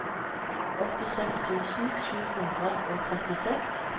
åttiseks tusen sju hundre og trettiseks